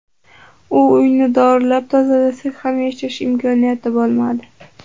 U uyni dorilab, tozalasak ham yashash imkoniyati bo‘lmadi.